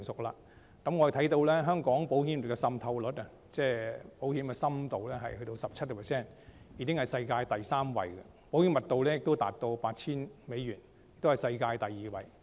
我們看到香港保險業的浸透率，即保險的深度達 17%， 已經是世界第三位；保險的密度達 8,000 美元，是世界第二位。